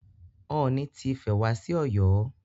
Ooni ti Ifẹ̀ wá sí Ọ̀yọ́.